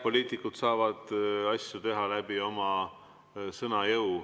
Poliitikud saavad asju teha läbi oma sõna jõu.